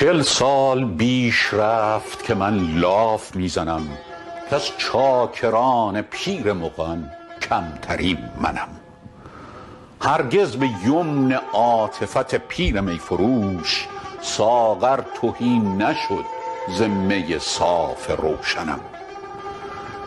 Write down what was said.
چل سال بیش رفت که من لاف می زنم کز چاکران پیر مغان کمترین منم هرگز به یمن عاطفت پیر می فروش ساغر تهی نشد ز می صاف روشنم